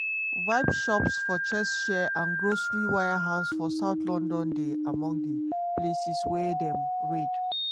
vape shops for cheshire and grocery warehouse for south london dey among di places wia dem raid.